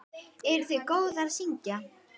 Eruð þið góðar að syngja?